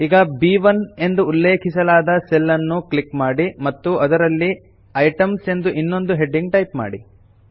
ಈಗ ಬ್1 ಎಂದು ಉಲ್ಲೇಖಿಸಲಾದ ಸೆಲ್ ಅನ್ನು ಕ್ಲಿಕ್ ಮಾಡಿ ಮತ್ತು ಅದರಲ್ಲಿ ಐಟೆಮ್ಸ್ ಎಂದು ಇನ್ನೊಂದು ಹೆಡಿಂಗ್ ಟೈಪ್ ಮಾಡಿ